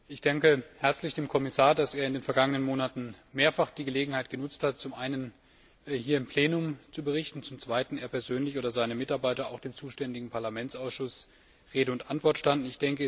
Ich danke herzlich dem Kommissar, dass er in den vergangenen Monaten mehrfach die Gelegenheit genutzt hat, um zum einen hier im Plenum zu berichten, und dass zum Zweiten er persönlich oder seine Mitarbeiter auch dem zuständigen Parlamentsausschuss Rede und Antwort standen.